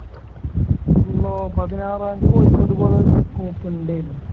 ആഹ് പതിനാറാംതീ കോയിക്കോട്ട് പോകാൻ നോക്കണ്ടെനു